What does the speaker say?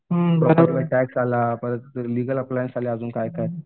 tax आला परत legal appliance काय काय